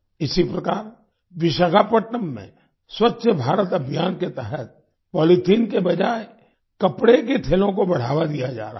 इसी प्रकार विशाखापट्नम में स्वच्छ भारत अभियान के तहत पॉलीथीन के बजाए कपड़े के थैलों को बढ़ावा दिया जा रहा है